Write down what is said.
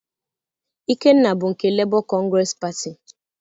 Ikenna bụ nke Lebọ kọngresị Patị.